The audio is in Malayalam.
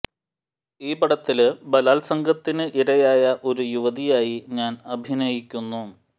ഈ പടത്തില് ബലാത്സംഗത്തിന് ഇരയായ ഒരു യുവതിയായി ഞാന് അഭിനയിക്കുന്നു